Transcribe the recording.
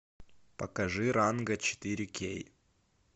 покажи ранго четыре кей